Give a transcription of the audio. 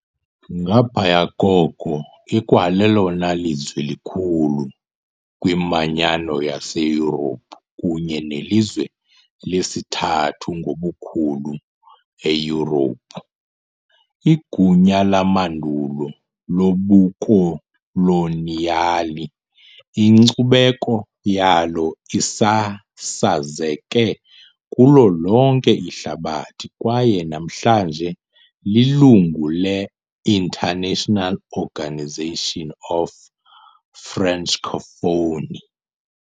Ngaphaya koko, ikwalelona lizwe likhulu kwiManyano yaseYurophu kunye nelizwe lesithathu ngobukhulu eYurophu . Igunya lamandulo lobukoloniyali, inkcubeko yalo isasazeke kulo lonke ihlabathi kwaye namhlanje lilungu le- International Organisation of Francophonie .